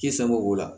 Kisɛ sango la